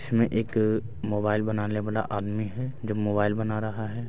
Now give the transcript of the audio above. उसमे एक मोबाइल बनाने वाला आदमी है जो मोबाइल बना रहा है।